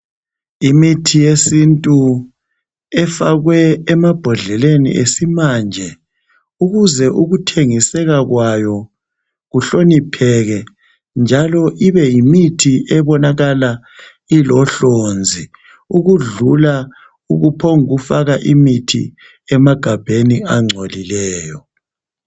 Imithi yesintu efakwe emabhodleleni esimanje ukuze ukuthengiseka kwayo kuhlonipheke njalo ibe yimithi ebonalakala ilohlonzi ukudlula ukuphongufaka imithi emagabheni angcolileyo.